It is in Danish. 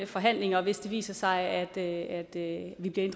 forhandlinger hvis det viser sig at vi bliver